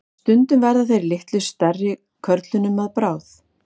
Stundum verða þeir litlu stærri körlum að bráð.